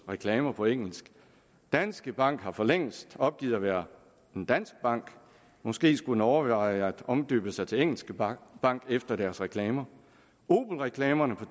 reklamer på engelsk danske bank har for længst opgivet at være en dansk bank måske skulle den overveje at omdøbe sig til engelske bank bank efter deres reklamer opelreklamerne fra